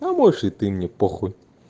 а можешь и ты мне похуй